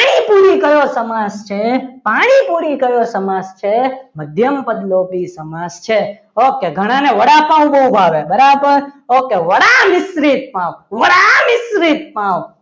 પાણીપુરી કયો સમાસ છે પાણીપુરી કયો સમાસ છે મધ્યમપદલોપી સમાસ છે ઓકે ઘણાને વડાપાવ બહુ ભાવે બરાબર okay વડા મિશ્રિત પાવ